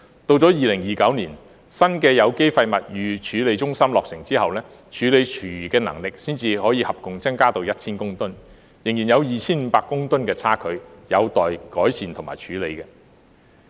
直到2029年，新的有機廢物預處理中心落成後，處理廚餘的能力才可合共增至 1,000 公噸，仍然有 2,500 公噸的差距，有待改善和處理。